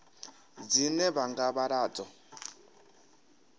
dzine vha nga vhala dzo